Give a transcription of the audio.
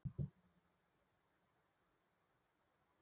Ef til væru samkynhneigðar þjóðir væru færri stríð í heim